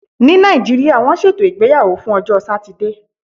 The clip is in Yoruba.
Ní Nàìjíríà, wọ́n ṣètò ìgbéyàwó fún ọjọ́ Satide.